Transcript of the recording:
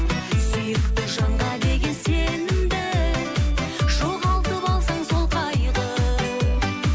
сүйікті жанға деген сенімді жоғалтып алсаң сол қайғы